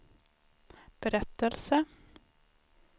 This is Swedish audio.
berättelse